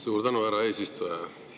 Suur tänu, härra eesistuja!